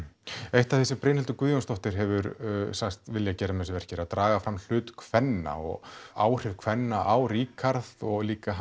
eitt af því sem Brynhildur Guðjónsdóttir hefur sagst vilja gera með þessu verki er að draga fram hlut kvenna og áhrif kvenna á Ríkharð og líka